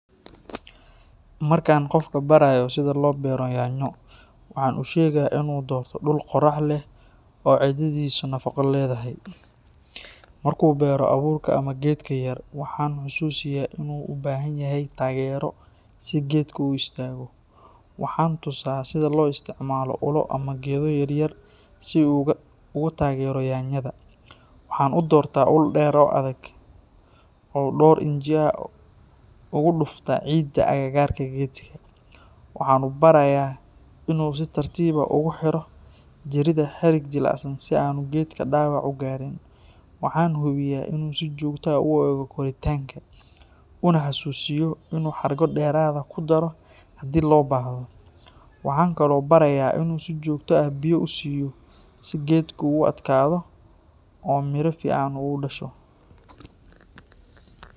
Markaan qofka barayo sida loo beero yaanyo, waxaan u sheegaa inuu doorto dhul qorax leh oo ciiddiisu nafaqo leedahay. Markuu beero abuurka ama geedka yar, waxaan xusuusiyaa inuu u baahan yahay taageero si geedku u istaago. Waxaan tusaa sida loo isticmaalo ulo ama geedo yaryar si uu uga taageero yaanyada. Waxaan u doortaa ul dheer oo adag, oo dhowr inji ugu dhuftaa ciidda agagaarka geedka. Waxaan u barayaa inuu si tartiib ah ugu xiro jirida xarig jilicsan si aanu geedku dhaawac u gaarin. Waxaan hubiyaa inuu si joogto ah u eego koritaanka, una xasuusiyo inuu xargo dheeraad ah ku daro haddii loo baahdo. Waxaan kaloo barayaa inuu si joogto ah biyo u siiyo si geedku u adkaado oo miro fiican u dhasho.